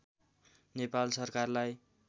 नेपाल सरकारलाई